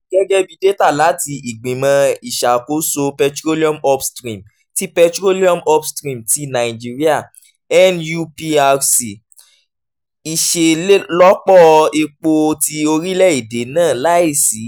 gẹ́gẹ́ bí data láti ìgbìmọ̀ ìṣàkóso petroleum upstream ti petroleum upstream ti naijiria nuprc iṣelọpọ epo ti orilẹ-ede naa laisi